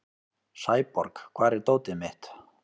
Sæborg, hvar er dótið mitt?